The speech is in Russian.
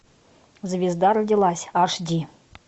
звезда родилась аш ди